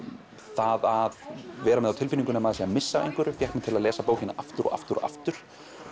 það að vera með á tilfinningunni að maður sé að missa af einhverju fékk mig til að lesa bókina aftur og aftur og aftur